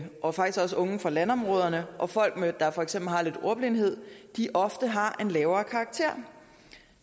og faktisk også unge fra landområderne og folk der for eksempel har lidt ordblindhed ofte har en lavere karakter